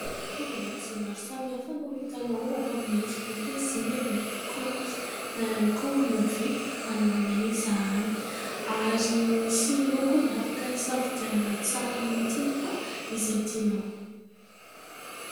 Fitaovan-dakozia maro samihafa no hitanao ato aminay. Mety hoe zinga ve? Kaopy? Na ihany koa lovia? Anananay izany, ary misy lokony maro azo hisafidianana tsara mihitsy fa izay tianao.